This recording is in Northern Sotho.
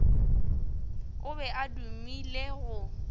o be a dumile go